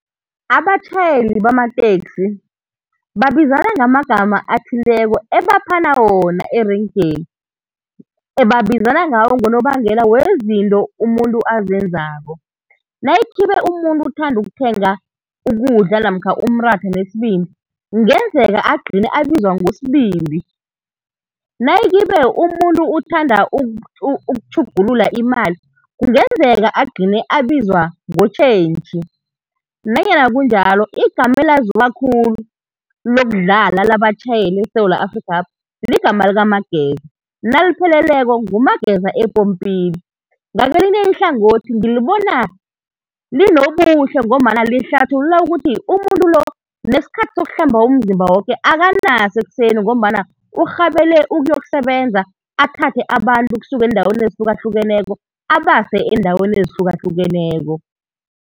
Abatjhayeli bamateksi babizana ngamagama athileko ebaphana wona erenkeni, ebabizana ngawo ngonobangela wezinto umuntu azenzako. Nayikhibe umuntu uthanda ukuthenga ukudla namkha umratha nesibindi, kungenzeka agcine abizwa ngosibindi. Nayikhibe umuntu uthanda ukutjhugulula imali, kungenzeka agcine abizwa ngotjhentjhi. Nanyana kunjalo, igama elaziwa khulu, lokudlala labatjhayeli eSewula Afrikhapha ligama likaMageza, nalipheleleko, nguMageza epompini. Ngakelinye ihlangothi ngilibona linobuhle ngombana lihlathulula ukuthi umuntu lo, nesikhathi sokuhlamba umzimba woke akanaso ekuseni ngombana urhabele ukuyokusebenza athathe abantu ukusuka eendaweni ezihlukahlukeneko, abase eendaweni ezihlukahlukeneko.